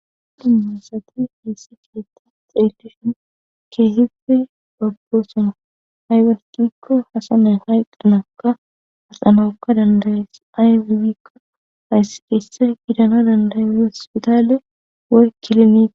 Dimmasati haysse kiyeta xeelleshun keehife gaggo suna hay wesgikko hasanay hayq qanaka hasanokka dandayees ayikko hayssi keesse gidano dandayne spitaale woy kilomiq.